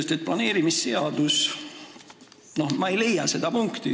Võtame planeerimisseaduse, ma ei leia sealt seda punkti.